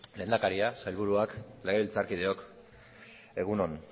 lehendakaria sailburuak legebiltzarkideok egun on